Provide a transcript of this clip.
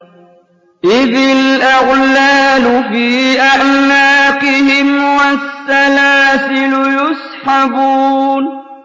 إِذِ الْأَغْلَالُ فِي أَعْنَاقِهِمْ وَالسَّلَاسِلُ يُسْحَبُونَ